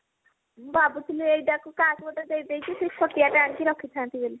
ମୁଁ ଭାବୁଥିଲି ଏଇ ତାକୁ କାହାକୁ ଗୋଟେ ଦେଇଦେଇକି ଛୋଟିଆ ଟେ ଆଣିକି ରଖିଥାନ୍ତି ବୋଲି